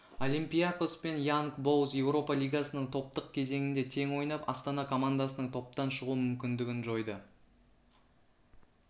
олимпиакос пен янг бойз еуропа лигасының топтық кезеңінде тең ойнап астана командасының топтан шығу мүмкіндігін жойды